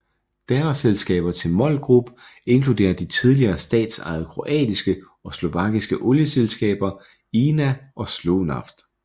Datterselskaber til MOL Group inkluderer de tidligere statsejede kroatiske og slovakiske olieselskaber INA og Slovnaft